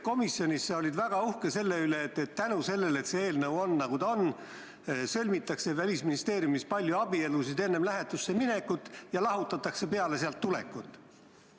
Komisjonis olid sa väga uhke selle üle, et tänu sellele, et see eelnõu on selline, nagu ta on, sõlmitakse Välisministeeriumi töötajate seas palju abielusid enne lähetusse minekut ja lahutatakse peale sealt tulekut.